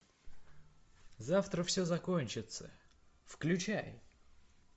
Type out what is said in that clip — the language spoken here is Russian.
завтра все закончится включай